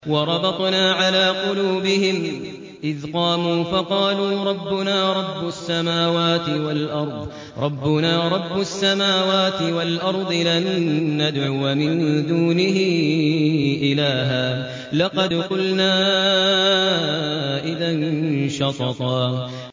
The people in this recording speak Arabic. وَرَبَطْنَا عَلَىٰ قُلُوبِهِمْ إِذْ قَامُوا فَقَالُوا رَبُّنَا رَبُّ السَّمَاوَاتِ وَالْأَرْضِ لَن نَّدْعُوَ مِن دُونِهِ إِلَٰهًا ۖ لَّقَدْ قُلْنَا إِذًا شَطَطًا